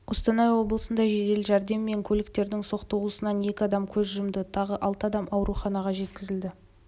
қостанай облысында жедел жәрдем мен көліктерінің соқтығысуынан екі адам көз жұмды тағы алты адам ауруханаға жеткізілді